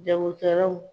Jagokɛlaw